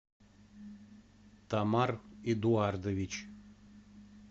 тамар эдуардович